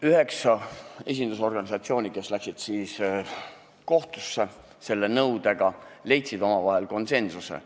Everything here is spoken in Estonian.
Üheksa esindusorganisatsiooni, kes läksid selle nõudega kohtusse, leidsid omavahel konsensuse.